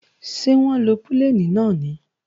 Ṣé wọ́n lo pílènì náà ni?